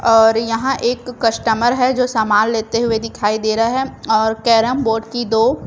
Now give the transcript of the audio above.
और यहां एक कस्टमर है जो सामान लेते हुए दिखाई दे रहे है और कैरम बोर्ड की दो--